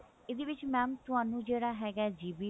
ਇਹਦੇ ਵਿੱਚ mam ਤੁਹਾਨੂੰ ਜਿਹੜਾ ਹੈਗਾ GB